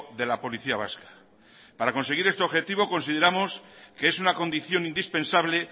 de la policía vasca para conseguir este objetivo consideramos que es una condición indispensable